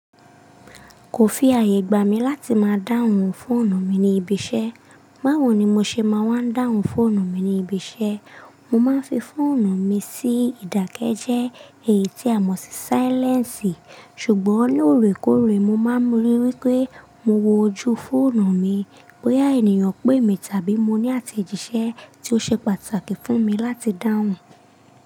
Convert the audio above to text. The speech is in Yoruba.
Kò fì ààyè gbà mí láti máa dáhùn fóònù mi ní ibi iṣẹ́. Báwo ni mo ṣe máa wań dáhùn fóònù mi ní ibi iṣẹ́? Mo máa ń fi fóònù mi sí ìdákẹ́jẹ́ èyí tí a mọ̀ sí sílẹ́ǹsì, ṣùgbọ́n lóòrèkóòrè mo máa ń rí wípé mo wo ojú fóònù mi bóyá ènìyàn pè mí tàbí mo ní àtẹ̀jíṣẹ́ tí ó ṣe pàtàkì fún mi láti dáhùn.